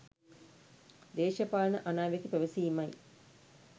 දේශපාලන අනාවැකි පැවසීමයි.